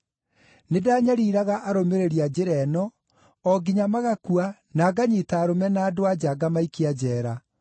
Nĩndanyariiraga arũmĩrĩri a Njĩra ĩno o nginya magakua na nganyiita arũme na andũ-a-nja ngamaikia njeera,